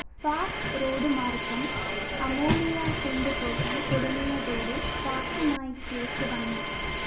fact റോഡുമാര്‍ഗ്ഗം ammonia കൊണ്ടുപോകാന്‍ തുടങ്ങിയതോടെ ഫാക്ടുമായി കേസ് വന്നു